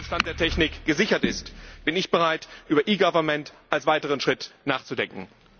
nach aktuellem Stand der Technik, gesichert ist, bin ich bereit, über e government als weiteren Schritt nachzudenken.